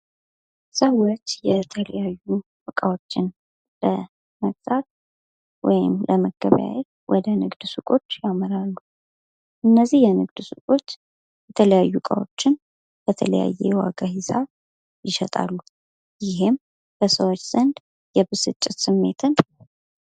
ሰዎች የተለያዩ እቃዎችን ለመግዛት ወይም ለመገበየት ወደ ንግድ ሱቆች ያመራሉ እነዚህ የንግድ ሱቆች የተለያዩ እቃዎችን በተለያዩ ዋጋ ሂሳብ ይሸጣሉ። ይህም በሰዎች ዘንድ የ ብስጭት ስሜትን